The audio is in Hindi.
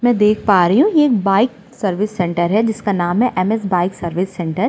मैं देख पा रही हूँ यह एक बाइक सर्विस सेंटर है। जिसका नाम है एमएस सर्विस सेंटर ।